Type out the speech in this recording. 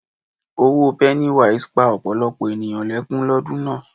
Òwò pennywise pa ọ̀pọ̀lọpọ̀ ènìyàn lẹ́kún lọ́dún náà.